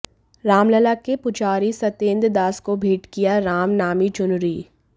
रामलला के पुजारी सत्येंद्र दास को भेंट किया रामनामी चुनरी